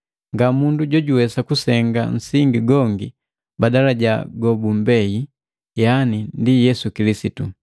Ngamundu jojuwesa kusenga nsingi gongi badala ja gobugubei yaani ndi Yesu Kilisitu.